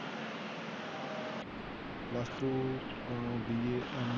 Plus two B A.